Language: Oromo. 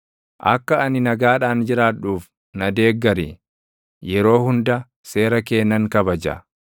Akka ani nagaadhaan jiraadhuuf na deeggari; yeroo hunda seera kee nan kabaja.